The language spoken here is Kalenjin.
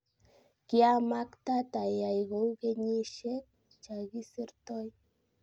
kiamaktaat ayai kounikenyisiek chakisirtoi